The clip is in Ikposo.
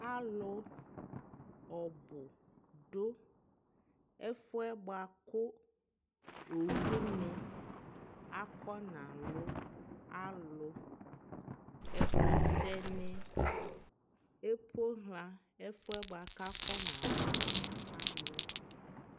alʋ ɔbʋ dʋ ɛƒʋɛ bʋakʋ ɔwʋni akɔna lʋ alʋ, ɛkʋtɛ ni ɛpɔha ɛƒʋɛ kʋakɔna lʋ alʋɛ